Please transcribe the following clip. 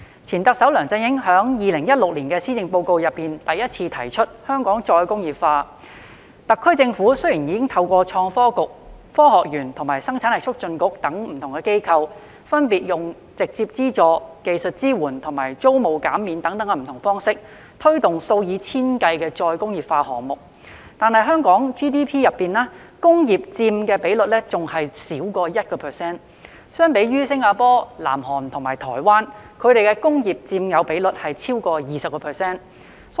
前特首梁振英在2016年施政報告中首次提出香港"再工業化"，特區政府雖已透過創新及科技局、香港科學園及生產力促進局等機構，分別以直接資助、技術支援及租務減免等方式，推動數以千計的再工業化項目，但在香港 GDP 中，工業佔的比率仍少於 1%， 比較之下，新加坡、南韓及台灣的工業佔有比率已超過 20%。